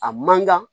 A man kan